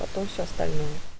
потом все остальное